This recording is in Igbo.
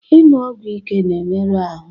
Ịṅụ ọgwụ ike na-emerụ ahụ